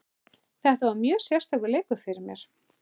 Þetta var mjög sérstakur leikur fyrir mig.